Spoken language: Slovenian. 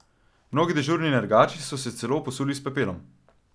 Mnogi dežurni nergači so se celo posuli s pepelom.